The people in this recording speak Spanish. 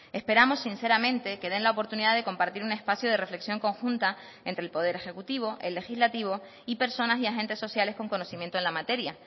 esperamos sinceramente que den la oportunidad de compartir un espacio de reflexión conjunta entre el poder ejecutivo el legislativo y personas y agentes sociales con conocimiento en la materia